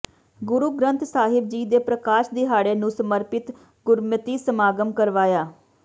ਗੁਰੂ ਗ੍ਰੰਥ ਸਾਹਿਬ ਜੀ ਦੇ ਪ੍ਰਕਾਸ਼ ਦਿਹਾੜੇ ਨੂੰ ਸਮਰਪਿਤ ਗੁਰਮਤਿ ਸਮਾਗਮ ਕਰਵਾਇਆ